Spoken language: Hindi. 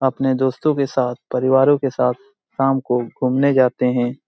अपने दोस्तों के साथ परिवारों के साथ शाम को घूमने जाते हैं।